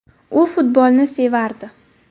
U futbolni sevardi.